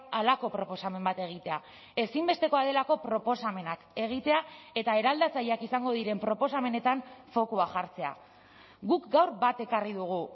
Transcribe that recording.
halako proposamen bat egitea ezinbestekoa delako proposamenak egitea eta eraldatzaileak izango diren proposamenetan fokua jartzea guk gaur bat ekarri dugu